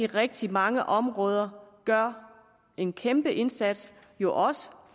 rigtig mange områder gør en kæmpe indsats jo også